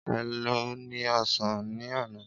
É lo ni osan ní àná?